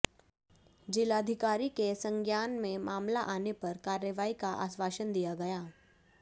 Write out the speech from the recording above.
जिलाधिकारी के संज्ञान में मामला आने पर कार्रवाई का आश्वासन दिया गया